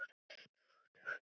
Söngvar þegja.